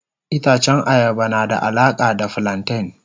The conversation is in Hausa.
Itacen ayaba na da alaka da flanten.